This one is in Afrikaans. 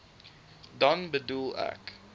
dan bedoel ek